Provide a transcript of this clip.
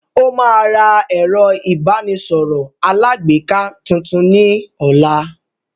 Ó máa ra ẹ̀rọ ìbánisọ̀rọ̀ alágbèéká tuntun ní ọ̀la